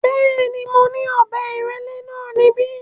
Bẹ́ẹ̀ ni, mo ní ọ̀bẹ ìrẹ́lẹ́ náà níbí.